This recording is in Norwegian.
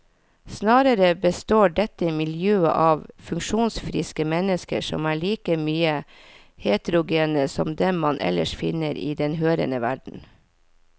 Snarere består dette miljøet av funksjonsfriske mennesker som er like mye heterogene som dem man ellers finner i den hørende verden.